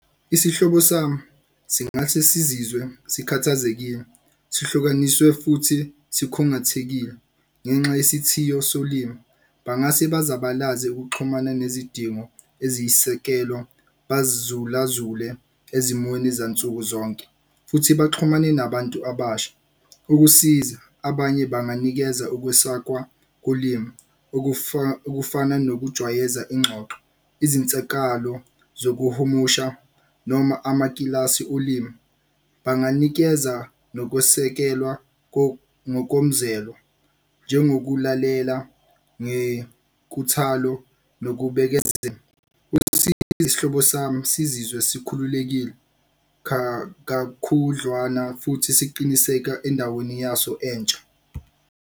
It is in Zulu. Isihlobo sami singase sizizwe sikhathazekile, sihlukaniswe futhi sikhungathekile, ngenxa yesithiyo solimi. Bangase bazabalaze ukuxhumana nezidingo eziyisekelo, bazulazule ezimweni zansukuzonke. Futhi baxhumane nabantu abasha. Ukusiza, abanye banganikeza ukwesakwa kolimi okufana nokujwayeza ingxoxo, izinsakalo zokuhumusha noma amakilasi olimi, banganikeza nokwesekelwa ngokomzelo njengokulalela ngenkuthalo nokubekezela isihlobo sami sizizwe sikhululekile kakhudlwana futhi siqiniseka endaweni yaso entsha.